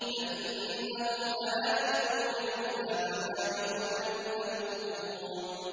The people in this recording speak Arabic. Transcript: فَإِنَّهُمْ لَآكِلُونَ مِنْهَا فَمَالِئُونَ مِنْهَا الْبُطُونَ